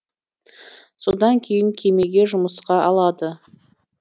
содан кейін кемеге жұмысқа алады